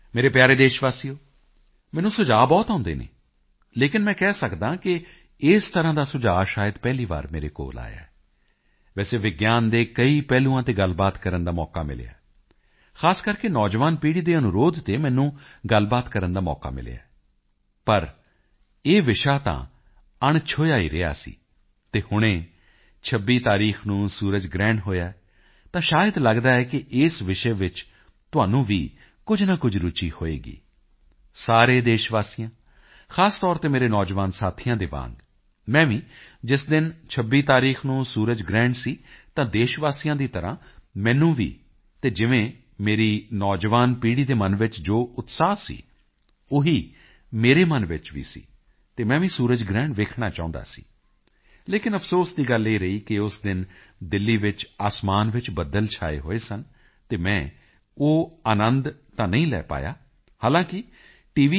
ਮੇਰੇ ਪਿਆਰੇ ਦੇਸ਼ਵਾਸੀਓ ਮੈਨੂੰ ਸੁਝਾਅ ਬਹੁਤ ਆਉਂਦੇ ਹਨ ਲੇਕਿਨ ਮੈਂ ਕਹਿ ਸਕਦਾ ਹਾਂ ਕਿ ਇਸ ਤਰ੍ਹਾਂ ਦਾ ਸੁਝਾਅ ਸ਼ਾਇਦ ਪਹਿਲੀ ਵਾਰੀ ਮੇਰੇ ਕੋਲ ਆਇਆ ਹੈ ਵੈਸੇ ਵਿਗਿਆਨ ਦੇ ਕਈ ਪਹਿਲੂਆਂ ਤੇ ਗੱਲਬਾਤ ਕਰਨ ਦਾ ਮੌਕਾ ਮਿਲਿਆ ਹੈ ਖ਼ਾਸ ਕਰਕੇ ਨੌਜਵਾਨ ਪੀੜ੍ਹੀ ਦੇ ਅਨੁਰੋਧ ਤੇ ਮੈਨੂੰ ਗੱਲਬਾਤ ਕਰਨ ਦਾ ਮੌਕਾ ਮਿਲਿਆ ਹੈ ਪਰ ਇਹ ਵਿਸ਼ਾ ਤਾਂ ਅਣਛੋਹਿਆ ਹੀ ਰਿਹਾ ਸੀ ਅਤੇ ਹੁਣੇ 26 ਤਾਰੀਖ ਨੂੰ ਸੂਰਜ ਗ੍ਰਹਿਣ ਹੋਇਆ ਹੈ ਤਾਂ ਸ਼ਾਇਦ ਲੱਗਦਾ ਹੈ ਕਿ ਇਸ ਵਿਸ਼ੇ ਵਿੱਚ ਤੁਹਾਨੂੰ ਵੀ ਕੁਝ ਨਾ ਕੁਝ ਰੁਚੀ ਹੋਵੇਗੀ ਸਾਰੇ ਦੇਸ਼ਵਾਸੀਆਂ ਖ਼ਾਸ ਤੌਰ ਤੇ ਮੇਰੇ ਨੌਜਵਾਨ ਸਾਥੀਆਂ ਦੇ ਵਾਂਗ ਮੈਂ ਵੀ ਜਿਸ ਦਿਨ 26 ਤਾਰੀਖ ਨੂੰ ਸੂਰਜ ਗ੍ਰਹਿਣ ਸੀ ਤਾਂ ਦੇਸ਼ਵਾਸੀਆਂ ਦੀ ਤਰ੍ਹਾਂ ਮੈਨੂੰ ਵੀ ਅਤੇ ਜਿਵੇਂ ਮੇਰੀ ਨੌਜਵਾਨ ਪੀੜ੍ਹੀ ਦੇ ਮਨ ਵਿੱਚ ਜੋ ਉਤਸ਼ਾਹ ਸੀ ਉਹੀ ਮੇਰੇ ਮਨ ਵਿੱਚ ਵੀ ਸੀ ਅਤੇ ਮੈਂ ਵੀ ਸੂਰਜ ਗ੍ਰਹਿਣ ਵੇਖਣਾ ਚਾਹੁੰਦਾ ਸੀ ਲੇਕਿਨ ਅਫਸੋਸ ਦੀ ਗੱਲ ਇਹ ਰਹੀ ਕਿ ਉਸ ਦਿਨ ਦਿੱਲੀ ਵਿੱਚ ਅਸਮਾਨ ਚ ਬੱਦਲ ਛਾਏ ਹੋਏ ਸਨ ਅਤੇ ਮੈਂ ਉਹ ਅਨੰਦ ਤਾਂ ਨਹੀਂ ਲੈ ਪਾਇਆ ਹਾਲਾਂਕਿ ਟੀ